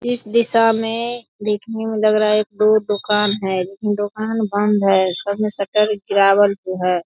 इस दिशा मे देखने मे लग रहा है दो दोकान है लेकिन दोकान बंद है। सब मे सटर गिरावल जो है।